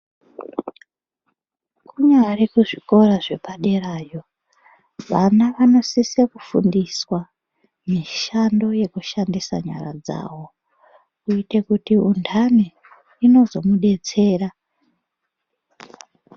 Kunyari kuzvikora zvepaderayo vana wanosisa kufundiswa mishando yekushandisa nyara dzavo kuitira kuti unhani inozomudetsera.